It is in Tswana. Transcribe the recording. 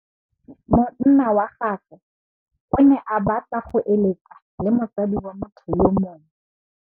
Monna wa gagwe o ne a batla go êlêtsa le mosadi wa motho yo mongwe.